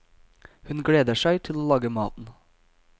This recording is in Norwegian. Hun gleder seg til å lage maten.